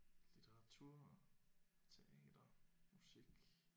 Litteratur teater musik